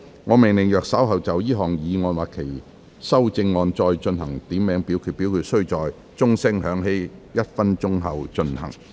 我命令若稍後就這項議案或其修正案進行點名表決，表決須在鐘聲響起1分鐘後進行。